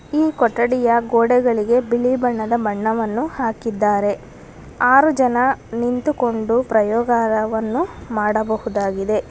ಈ ಕೊಠಡಿಯ ಗೋಡೆಗಳಿಗೆ ಬಿಳಿ ಬಣ್ಣದ ಬಣ್ಣವನ್ನು ಹಾಕಿದ್ದಾರೆ ಆರು ಜನ ನಿಂತುಕೊಂಡು ಪ್ರಯೋಗಾಯವನ್ನು ಮಾಡಬಹುದಾಗಿದೆ.